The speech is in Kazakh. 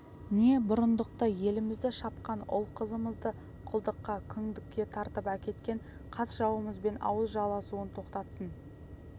не бұрындықты елімізді шапқан ұл-қызымызды құлдыққа күңдікке тартып әкеткен қас-жауымызбен ауыз жаласуын тоқтатсын